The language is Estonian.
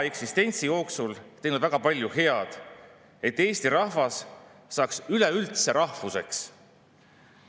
Kahjuks õiguskomisjoni esimees, võimuliitu kuuluv sotsiaaldemokraat kõiki kaasatuid alati kiirustas, et palun rääkige kiiresti, ja ka nendele, kes küsida tahtsid, öeldi, et palun küsige kiiresti.